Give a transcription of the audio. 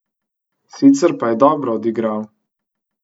Sicer je pa dobro odigral.